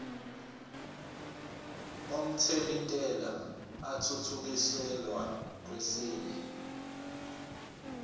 omthelintela athuthukiselwa kwesinye